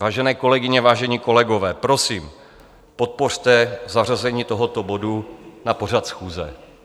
Vážené kolegyně, vážení kolegové, prosím, podpořte zařazení tohoto bodu na pořad schůze.